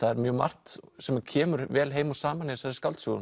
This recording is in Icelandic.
er mjög margt sem kemur vel heim og saman í þessari skáldsögu